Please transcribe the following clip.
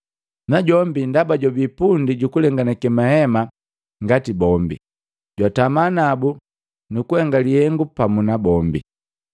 najombi ndaba jwabii pundi jukulenganake mahema ngati bombi, jwatama nabu nukuhenga lihengu pamu nabombi.